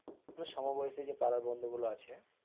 আমাদের সমবয়সী যে পাড়ার বন্ধু গুলো আছে,